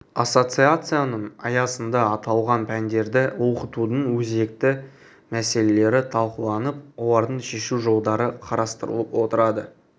ассоциацияның аясында аталған пәндерді оқытудың өзекті мәселелері талқыланып олардың шешу жолдары қарастырылып отырады